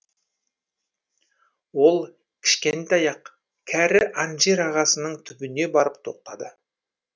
ол кішкентай ақ кәрі анжир ағасының түбіне барып тоқтады